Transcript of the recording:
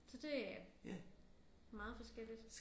Så det er meget forskelligt